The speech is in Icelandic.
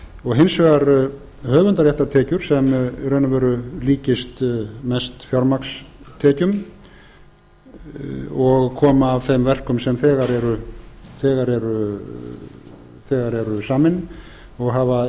og hins vegar höfundarréttartekjur sem í raun og veru líki st mest fjármagnstekjum og koma af þeim verkum sem þegar eru samin og hafa